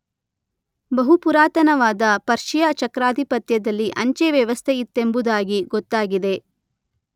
ಬಹು ಪುರಾತನವಾದ ಪರ್ಷಿಯ ಚಕ್ರಾಧಿಪತ್ಯದಲ್ಲಿ ಅಂಚೆ ವ್ಯವಸ್ಥೆಯಿತ್ತೆಂಬುದಾಗಿ ಗೊತ್ತಾಗಿದೆ.